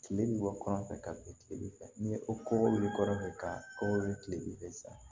Kile bɛ bɔ kɔnɔ fɛ ka bin tigɛli kɛ ni o bɛ kɔnɔ fɛ ka kɔkɔ ye tile bɛ fɛ san